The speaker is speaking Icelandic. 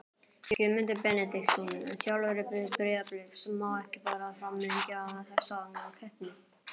Guðmundur Benediktsson, þjálfari Breiðabliks Má ekki bara framlengja þessa keppni?